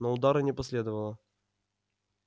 но удара не последовало